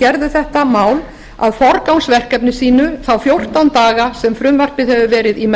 gerðu þetta mál að forgangsverkefni sínu þá fjórtán daga sem frumvarpið hefur verið í